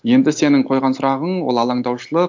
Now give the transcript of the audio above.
енді сенің қойған сұрағың ол аландаушылық